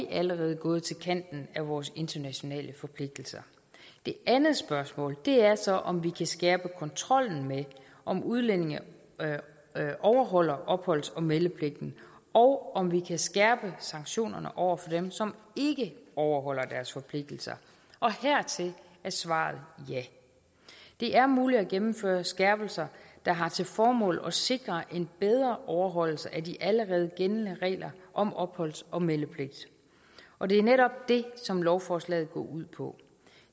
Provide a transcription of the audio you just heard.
allerede gået til kanten af vores internationale forpligtelser det andet spørgsmål er så om vi kan skærpe kontrollen med om udlændinge overholder opholds og meldepligten og om vi kan skærpe sanktionerne over for dem som ikke overholder deres forpligtelser og hertil er svaret ja det er muligt at gennemføre skærpelser der har til formål at sikre en bedre overholdelse af de allerede gældende regler om opholds og meldepligt og det er netop det som lovforslaget går ud på